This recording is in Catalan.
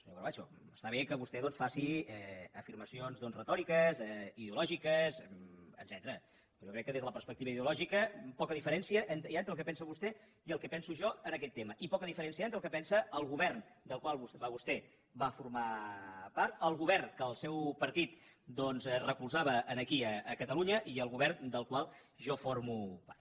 senyor corbacho està bé que vostè doncs faci afirmacions retòriques ideològiques etcètera però jo crec que des de la perspectiva ideològica poca diferència hi ha entre el que pensa vostè i el que penso jo en aquest tema i poca diferència hi ha entre el que pensa el govern del qual vostè va formar part el govern que el seu partit recolzava aquí a catalunya i el govern del qual jo formo part